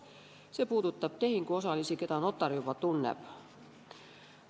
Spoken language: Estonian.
See puudutab tehinguosalisi, keda notar juba tunneb.